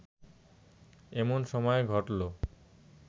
এমন সময়ে ঘটল